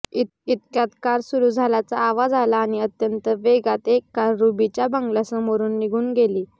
इतक्यात कार सुरु झाल्याचा आवाज आला आणि अत्यंत वेगात एक कार रुबीच्या बंगल्यासमोरून निघुन गेली